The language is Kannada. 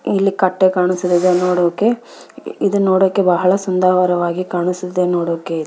ಇಲ್ಲಿ ಕಟ್ಟೆ ಕಾಣುಸ್ತಿದಾವೆ ನೋಡೋಕೆ ಇದು ನೋಡೋಕೆ ಬಹಳ ಸುಂದರವಾಗಿ ಕಾಣುಸ್ತಿದೆ ನೋಡೋಕೆ --